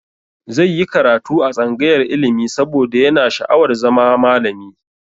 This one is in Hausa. Zai yi karatu a tsangayar ilimi saboda yana sha'awar zama malami.